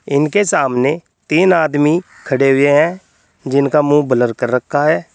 इनके सामने तीन आदमी खड़े हुए हैं जिनका मुंह ब्लर कर रखा है।